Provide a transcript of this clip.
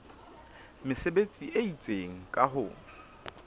mesebetsi e itseng ka ho